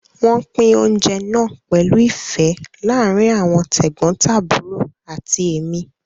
Wọ́n pín oúnjẹ náà pẹ̀lú ìfẹ́ láàárín àwọn tẹ̀gbọ́ntàbúrò àti èmi